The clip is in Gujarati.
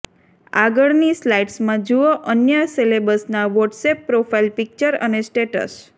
આગળની સ્લાઈડ્સમાં જુઓ અન્ય સેલેબ્સના વોટ્સએપ પ્રોફાઈલ પિક્ચર અને સ્ટેટસ